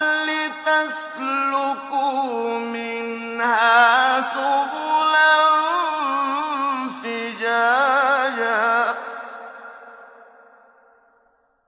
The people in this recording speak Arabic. لِّتَسْلُكُوا مِنْهَا سُبُلًا فِجَاجًا